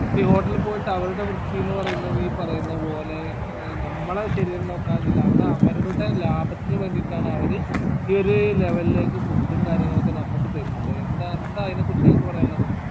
ഈ hotel പോയിട്ട് അവരുടെ വൃത്തി എന്ന് പറയുന്നത് ഈ പറയുന്ന പോലെ ഏർ നമ്മളെ ശരീരം നോക്കാനൊന്നും അല്ല അത് അവരുടെ ലാഭത്തിനു വേണ്ടിയിട്ടാണ് അവര് ഈ ഒരു level ലേക്ക് food ഉം കാര്യങ്ങളും ഒക്കെ നമ്മക്ക് തരിന്നത് എന്താ എന്താ അയിന കുറിച്ച്‌ നിങ്ങക്ക് പറയാനില്ലത്